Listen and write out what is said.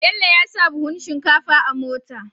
Bello yasa buhun shinkafa a mota